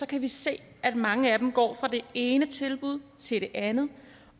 kan vi se at mange af dem går fra det ene tilbud til det andet